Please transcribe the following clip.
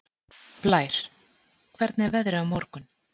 Blær, hvernig er veðrið á morgun?